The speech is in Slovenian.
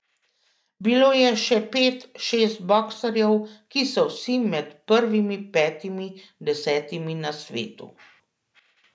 Bilo je še pet, šest boksarjev, ki so vsi med prvimi petimi, desetimi na svetu.